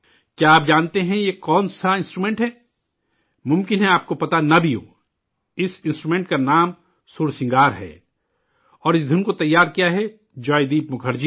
کیا آپ جانتے ہیں یہ کون سا انسٹرومنٹ ہے؟ ممکن ہے آپ کو پتہ نہ بھی ہو! اس ساز کا نام 'سُر سنگار' ہے اور اس دُھن کو تیار کیا ہے جوائے دیپ مکھرجی نے